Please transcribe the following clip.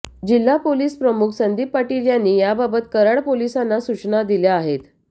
जिल्हापोलीसप्रमुख संदीप पाटील यांनी याबाबत कराड पोलिसांना सुचना दिल्या आहेत